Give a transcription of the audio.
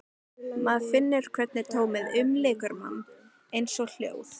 Maður finnur hvernig tómið umlykur mann, eins og hljóð.